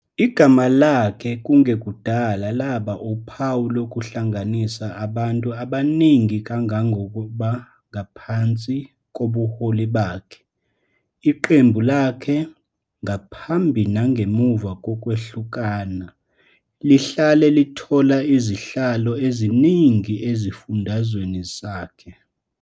Igama lakhe kungekudala laba uphawu lokuhlanganisa abantu abaningi kangangoba ngaphansi kobuholi bakhe, iqembu lakhe, ngaphambi nangemuva kokwehlukana, lihlale lithola izihlalo eziningi esifundazweni sakhe.